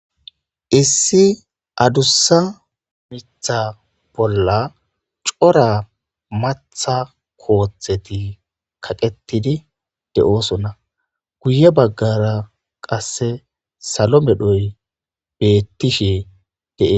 Issi adussa miththa bola Cora maaththa koththeti kaqetidi deosona guye bagara qase salo medhoyi betishe deosoona